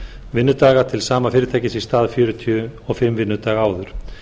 vinnudaga til sama fyrirtækis í stað fjörutíu og fimm daga áður